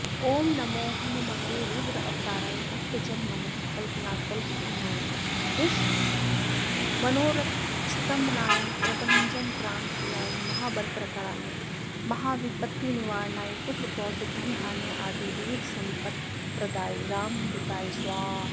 ॐ नमो हनुमते रुद्रावताराय भक्तजनमनःकल्पनाकल्पद्रुमाय दुष्टमनोरथस्तम्भनाय प्रभञ्जनप्राणप्रियाय महाबलपराक्रमाय महाविपत्तिनिवारणाय पुत्रपौत्रधनधान्यादिविविधसम्पत्प्रदाय रामदूताय स्वाहा